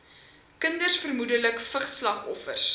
kinders vermoedelik vigsslagoffers